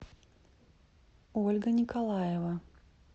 ольга николаева